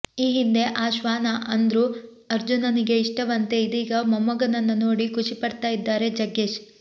ಈ ಹಿಂದೆ ಆ ಶ್ವಾನ ಅಂದ್ರು ಅರ್ಜುನನಿಗೆ ಇಷ್ಟವಂತೆ ಇದೀಗ ಮೊಮ್ಮಗನನ್ನ ನೋಡಿ ಖುಷಿ ಪಡ್ತಾ ಇದ್ದಾರೆ ಜಗ್ಗೇಶ್